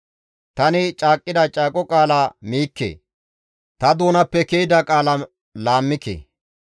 Tani caaqqida caaqo qaala miikke; ta doonappe ke7ida qaala laammike.